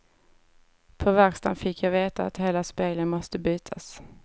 På verkstaden fick jag veta ett hela spegeln måste bytas.